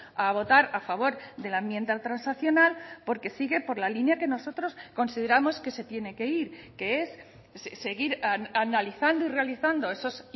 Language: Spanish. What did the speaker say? a votar a favor de la enmienda transaccional porque sigue por la línea que nosotros consideramos que se tiene que ir que es seguir analizando y realizando esas